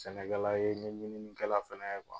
Sɛnɛkɛla ye , n ye mɔnikɛla fana ye kuwa.